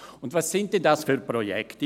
Und was sind denn das für Projekte?